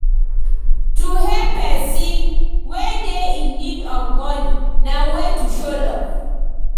To help persin wey de in need of money na way to show love